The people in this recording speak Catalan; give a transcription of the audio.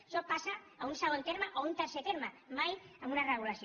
això passa a un segon terme o a un tercer terme mai en una regulació